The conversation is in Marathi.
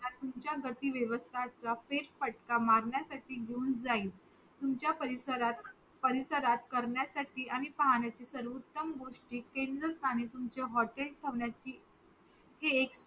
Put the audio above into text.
तुमच्या गती व्यवस्ताचा फेर फटका मारण्यासाठी घेऊन जाईल तुमच्या परिसरात करण्यासाठी आणि पाहण्याचे सर्वोत्तम गोष्टी केंद्र स्थाने तुम्हचे हॉटेल थांबण्याचे हे एक